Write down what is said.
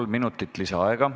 Kolm minutit lisaaega.